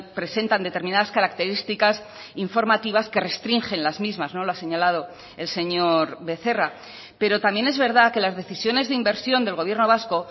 presentan determinadas características informativas que restringen las mismas no lo ha señalado el señor becerra pero también es verdad que las decisiones de inversión del gobierno vasco